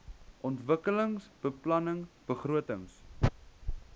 ontwikkelingsbeplanningbegrotings